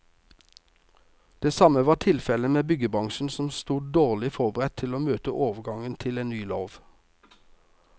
Det samme var tilfellet med byggebransjen, som sto dårlig forberedt til å møte overgangen til ny lov.